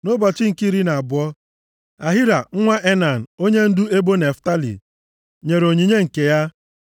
Nʼụbọchị nke iri na abụọ, Ahira nwa Enan, onyendu ebo Naftalị nyere onyinye nke ya.